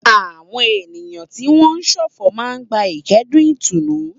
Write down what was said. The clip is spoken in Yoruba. Àwọn ènìyàn tí wọ́n ń ṣọ̀fọ̀ máa ń gba ìkẹ́dùn ìtùnú.